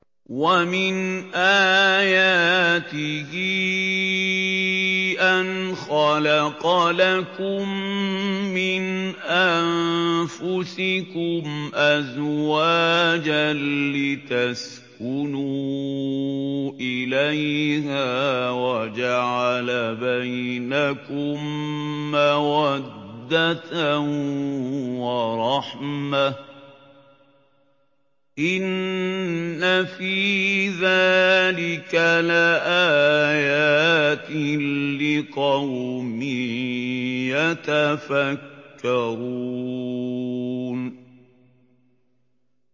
وَمِنْ آيَاتِهِ أَنْ خَلَقَ لَكُم مِّنْ أَنفُسِكُمْ أَزْوَاجًا لِّتَسْكُنُوا إِلَيْهَا وَجَعَلَ بَيْنَكُم مَّوَدَّةً وَرَحْمَةً ۚ إِنَّ فِي ذَٰلِكَ لَآيَاتٍ لِّقَوْمٍ يَتَفَكَّرُونَ